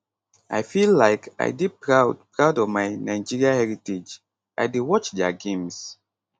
i feel like i dey proud proud of my nigeria heritage i dey watch dia games